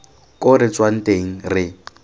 ko re tswang teng re